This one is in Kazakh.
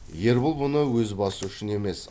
ербол бұны өз басы үшін емес